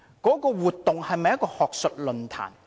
那項活動是否一場學術論壇？